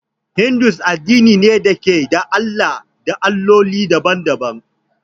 Hindu addini ne da ke da Allah da Alloli daban-daban.